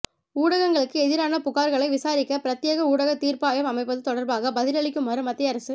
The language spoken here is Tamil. ஊடகங்களுக்கு எதிரான புகாா்களை விசாரிக்க பிரத்யேக ஊடக தீா்ப்பாயம் அமைப்பது தொடா்பாக பதிலளிக்குமாறு மத்திய அரசு